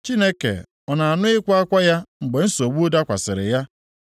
Chineke ọ na-anụ ịkwa akwa ya mgbe nsogbu dakwasịrị ya?